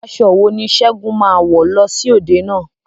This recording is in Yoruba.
Aṣọ wo ni Segun máa wọ̀ lọ sí òde náà?